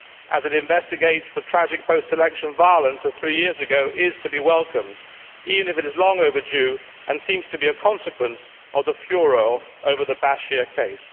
as it investigates the tragic post election violence of three years ago is to be welcomed, even if it is long overdue and seems to be a consequence of the furore over the Bashir case.